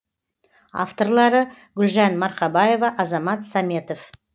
авторлары гүлжан марқабаева азамат саметов